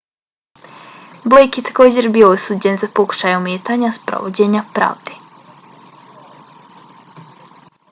blake je također bio osuđen za pokušaj ometanja sprovođenja pravde